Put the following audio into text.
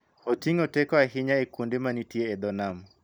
Oting�o teko ahinya e kuonde mantie e dho nam